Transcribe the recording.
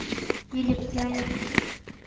или пряник